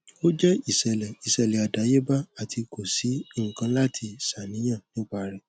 o jẹ iṣẹlẹ iṣẹlẹ adayeba ati ko si nkan lati ṣàníyàn nipa rẹ